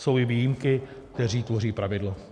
Jsou i výjimky, které tvoří pravidlo.